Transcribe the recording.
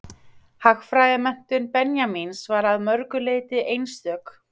Hagfræðimenntun Benjamíns var að mörgu leyti einstök.